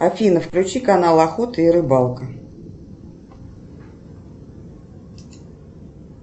афина включи канал охота и рыбалка